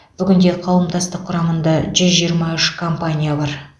бүгінде қауымдастық құрамында жүз жиырма үш компания бар